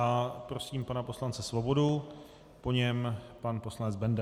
A prosím pana poslance Svobodu, po něm pan poslanec Benda.